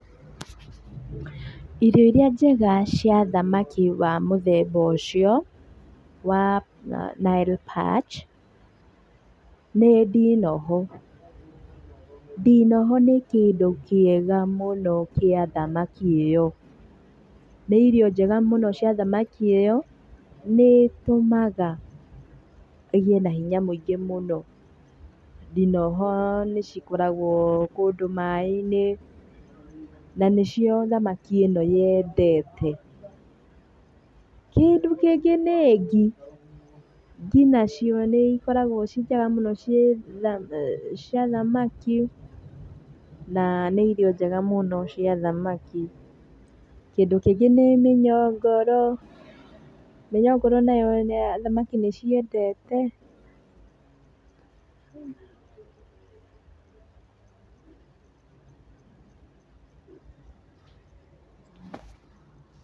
Irio irĩa njega cia thamaki wa mũthemba ũcio, wa Nile Perch, nĩ ndinoho, ndinoho nĩ kĩndũ kĩega mũno kĩa thamaki ĩyo. Nĩ irio njega mũno cia thamaki ĩyo, nĩ ĩtũmaga ĩgĩe na hinya mũingĩ mũno. Ndinoho nĩ cikoragwo kũndũ maĩ-inĩ, na nĩ cio thamaki ĩno yendete. Kĩndũ kĩngĩ nĩ ngi, ngi nacio nĩ ikoragwo ciĩ njega mũno cia thamaki, na nĩ irio njega mũno cia thamaki. Kĩndũ kĩngĩ nĩ mĩnyongoro, mĩnyongoro nayo thamaki nĩ ciendete.